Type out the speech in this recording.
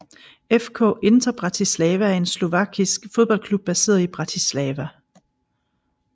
FK Inter Bratislava er en slovakisk fodboldklub baseret i Bratislava